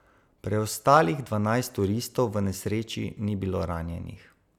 Preostalih dvanajst turistov v nesreči ni bilo ranjenih.